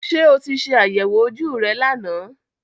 Ṣé o ti ṣe àyẹ̀wò ojú rẹ lánàá